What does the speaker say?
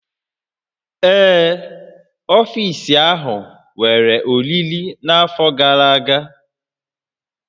Ee, ọfiisi ahụ nwere oriri n'afọ gara aga